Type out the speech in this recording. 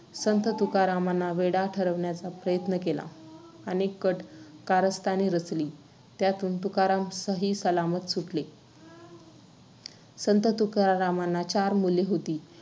संत तुकारामांना वेडा ठरविण्याचा प्रयत्न केला. अनेक कट कारस्थाने रचली, त्यांतून तुकाराम सहीसलामत सुटले. संत तुकारामांना चार मुले होती.